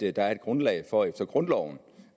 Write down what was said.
er et grundlag for efter grundloven